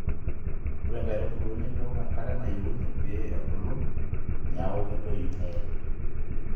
ore inkaitubul nemeok enkare nayieuni pee ebulu neeku ketoyu nee